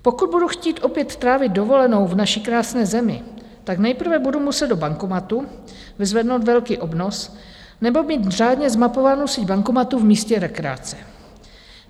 Pokud budu chtít opět trávit dovolenou v naší krásné zemi, tak nejprve budu muset do bankomatu vyzvednout velký obnos nebo mít řádně zmapovánu síť bankomatů v místě rekreace.